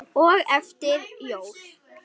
og eftir jól.